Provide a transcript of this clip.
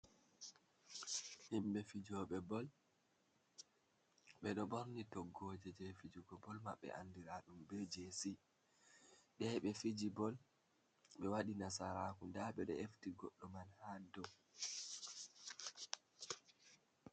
Himɓe fijooɓe bol, ɓe ɗo ɓorni toggooje jey fijugo bol maɓɓe ,anndira ɗum be JC.Ɓe yahi ɓe fiji bol ɓe waɗi nasaraaku ndaa ɓe ɗo efti goɗɗo man haa dow.